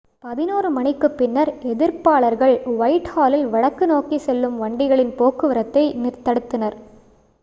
11:00 மணிக்குப் பின்னர் எதிர்ப்பாளர்கள் ஒயிட்ஹாலில் வடக்கு நோக்கி செல்லும் வண்டிகளின் போக்குவரத்தைத் தடுத்தனர்